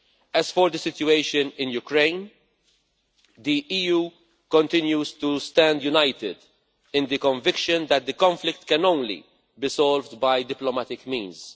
As for the situation in Ukraine, the EU continues to stand united in the conviction that the conflict can only be solved by diplomatic means.